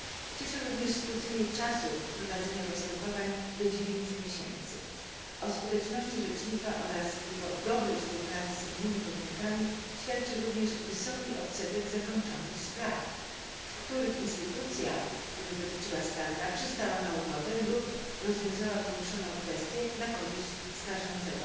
Cieszy również skrócenie czasu prowadzenia postępowań do dziewięciu miesięcy. O skuteczności rzecznika oraz jego dobrej współpracy z innymi podmiotami świadczy również wysoki odsetek zakończonych spraw, w których instytucja, której dotyczyła skarga, przystała na ugodę lub rozwiązała poruszoną kwestię na korzyść skarżącego.